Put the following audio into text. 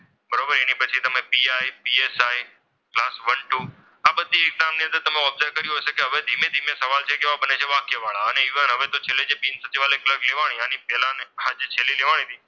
બરોબર એની પછી તમે P. I, PSI class one two આ બધી exam ની અંદર તમે observe કર્યું હશે કે હવે ધીમે ધીમે સવાલ છે એ કેવા બને છે કે વાક્યવાળા અને એ પણ હવે છેલ્લે બિન સચિવાલય ક્લાર્ક લેવાની એ પણ હવે તેની પહેલા છેલ્લે લેવાની હતી.